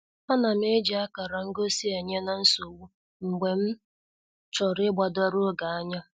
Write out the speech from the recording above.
Anam eji akara ngosi enye-na-nsogbu mgbe m chọrọ igbadoro oge anya.